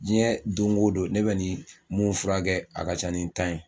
Diɲɛ dongo don ne bɛ nin mun furakɛ a ka ca ni tan ye